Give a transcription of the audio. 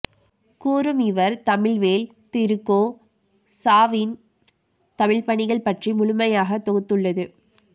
கூறும் இவர் தமிழ்வேள் திரு கோ சாவின் தமிழ்பணிகள் பற்றி முழுமையாகத் தொகுத்துள்ளது